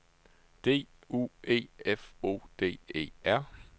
D U E F O D E R